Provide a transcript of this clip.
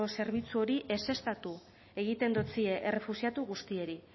zerbitzu hori ezeztatu egiten dotzie errefuxiatu guztiei